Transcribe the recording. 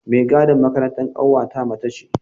Mai gadin makarantar ƙanwata mace ce.